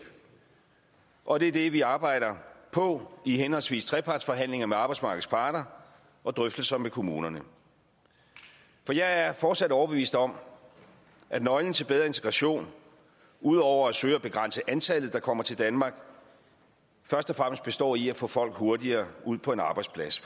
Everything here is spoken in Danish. og det er det vi arbejder på i henholdsvis trepartsforhandlinger med arbejdsmarkedets parter og drøftelser med kommunerne for jeg er fortsat overbevist om at nøglen til bedre integration ud over at søge at begrænse antallet der kommer til danmark først og fremmest består i at få folk hurtigere ud på en arbejdsplads